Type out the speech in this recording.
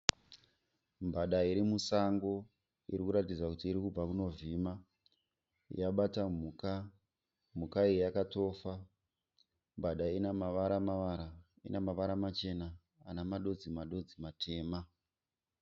Mbada irimusango irikuratidza kuti irikubva kunovhima. Yabata mhuka, mhuka iyi yakatofa. Mbada iyi inemavaramavara ,inemavara machena nemadodzimadodzi matema.